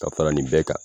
Ka fara nin bɛɛ kan